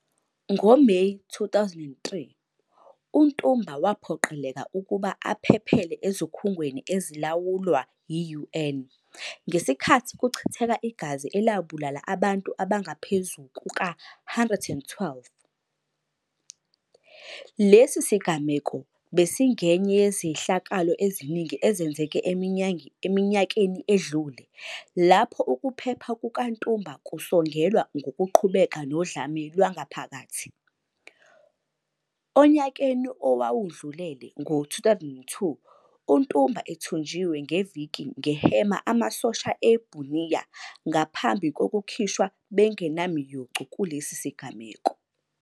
NgoMeyi 2003, uNtumba waphoqeleka ukuba aphephele ezikhungweni ezilawulwa yi-UN ngesikhathi kuchitheka igazi elabulala abantu abangaphezu kuka-112. Lesi sigameko besingenye yezehlakalo eziningi ezenzeke eminyakeni edlule lapho ukuphepha kukaNtumba kusongelwa ngokuqhubeka nodlame lwangaphakathi. Onyakeni owawandulele, ngo-2002, Ntumba ethunjiwe ngeviki nge Hema amasosha e Bunia ngaphambi kokukhishwa bengenamiyocu kulesi sigameko.